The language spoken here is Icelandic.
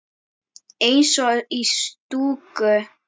Eins og í stúku.